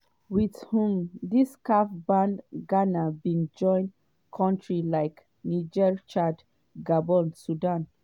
wit um dis caf ban ghana bin join kontris like niger chad gabon sudan